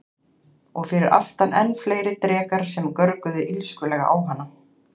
Og fyrir aftan enn fleiri drekar sem görguðu illskulega á hana.